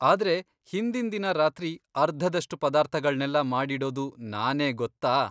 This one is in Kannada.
ಆದ್ರೆ, ಹಿಂದಿನ್ ದಿನ ರಾತ್ರಿ ಅರ್ಧದಷ್ಟು ಪದಾರ್ಥಗಳ್ನೆಲ್ಲ ಮಾಡಿಡೋದು ನಾನೇ ಗೊತ್ತಾ.